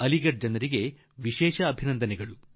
ಅಲಿಘಡದ ನನ್ನ ಸಂಗಾತಿಗಳಿಗೆ ವಿಶೇಷ ಅಭಿನಂದನೆ